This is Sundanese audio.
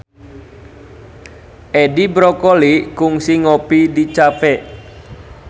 Edi Brokoli kungsi ngopi di cafe